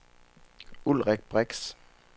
Ulrik Brix